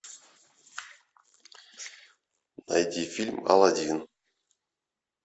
найди фильм аладдин